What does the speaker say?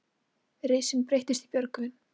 Risinn breyttist í Björgvin.